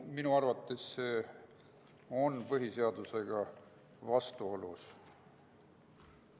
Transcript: Minu arvates on see põhiseadusega vastuolus.